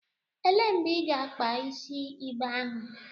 Elee mgbe ị ga-akpa isi igbe ahụ?